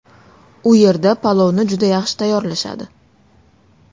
U yerda palovni juda yaxshi tayyorlashadi.